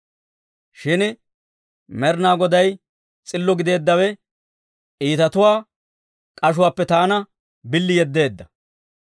Shin Med'inaa Goday s'illo gideeddawe iitatuwaa k'ashuwaappe taana billi yeddeedda.